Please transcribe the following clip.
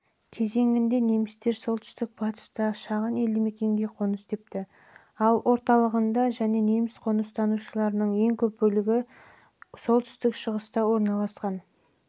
кезеңінде немістер солтүстік батыста шағын елдімекенге қоныс тепті ал орталығында және неміс қоныстанушыларының ең көп бөлігі орналасқан солтүстік-шығыс